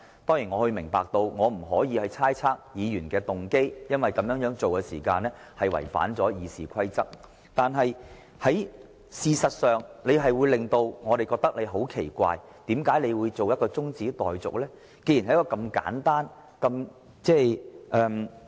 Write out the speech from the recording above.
當然，我明白我不可以猜測議員的動機，因為這違反《議事規則》，但盧議員這樣做確實令我們覺得很奇怪，不明白為何他要動議將辯論中止待續。